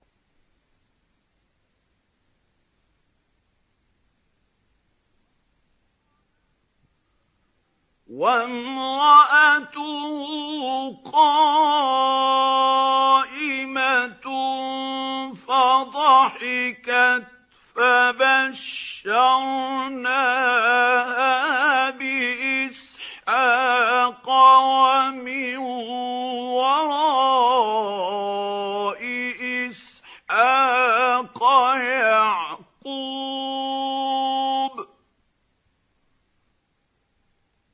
وَامْرَأَتُهُ قَائِمَةٌ فَضَحِكَتْ فَبَشَّرْنَاهَا بِإِسْحَاقَ وَمِن وَرَاءِ إِسْحَاقَ يَعْقُوبَ